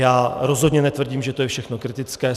Já rozhodně netvrdím, že to je všechno kritické.